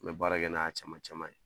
N mɛ baarakɛ n'a caman caman ye